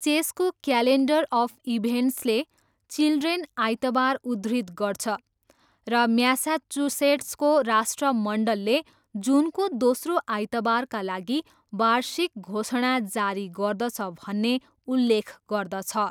चेसको calendar of इभेन्ट्सले children आइतबार उद्धृत गर्छ र म्यासाचुसेट्सको राष्ट्रमण्डलले जुनको दोस्रो आइतबारका लागि वार्षिक घोषणा जारी गर्दछ भन्ने उल्लेख गर्दछ।